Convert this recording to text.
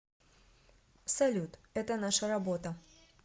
салют это наша работа